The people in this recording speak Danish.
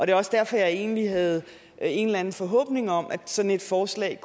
er også derfor jeg egentlig havde en eller anden forhåbning om at sådan et forslag